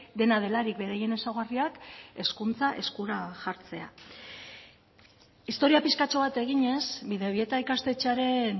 dena delarik beraien ezaugarriak hezkuntza eskura jartzea historia pixkatxo bat eginez bidebieta ikastetxearen